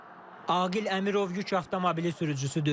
Aqil Əmirov yük avtomobili sürücüsüdür.